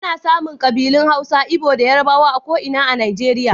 Ana samun kabilun Hausa, Igbo da Yarbawa a ko'ina a Najeriya.